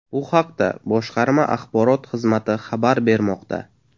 Bu haqda boshqarma axborot xizmati xabar bermoqda .